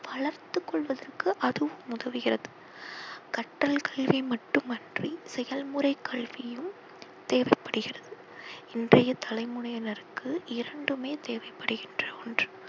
வளர்த்து கொள்வதற்கு அதுவும் உதவுகிறது. கற்றல் கல்வி மற்றுமன்றி செயல் முறை கல்வியும் தேவைப்படுகிறது. இன்றைய தலைமுறையினருக்கு இரண்டுமே தேவைப்படுகின்ற ஒன்று.